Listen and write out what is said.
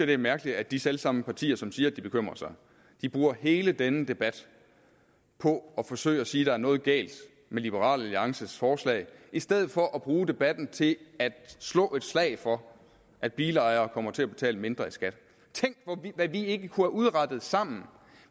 det er mærkeligt at de selv samme partier som siger at de bekymrer sig bruger hele denne debat på at forsøge at sige at der er noget galt med liberal alliances forslag i stedet for at bruge debatten til at slå et slag for at bilejerne kommer til at betale mindre i skat tænk hvad vi ikke kunne have udrettet sammen